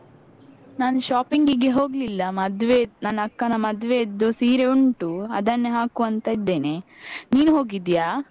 ನಾನು shopping ಗೆ ಹೋಗ್ಲಿಲ್ಲ ಮದ್ವೆ ನನ್ನ್ ಅಕ್ಕನ ಮದ್ವೆಯದ್ದು ಸೀರೆ ಉಂಟು ಅದನ್ನೆ ಹಾಕುವಾಂತ ಇದ್ದೇನೆ. ನೀನು ಹೋಗಿದ್ಯಾ?